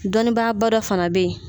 Dɔnnibaa ba dɔ fana bɛ yen